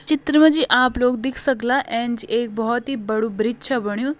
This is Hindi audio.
चित्र म जी आप लोग दिख सकला एैंच एक बहोत ही बड़ू ब्रिज छ बन्यूं।